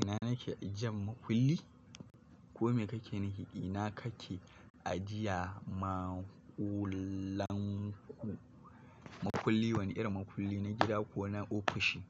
Ina nake ajiyan makulli? Ko me kake nufi, ina kake ajiya maƙullan ku, mukulli wani irin makulli na gida ko na ofishi.